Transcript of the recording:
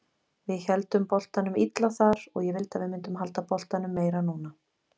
Við héldum boltanum illa þar og ég vildi að við myndum halda boltanum meira núna.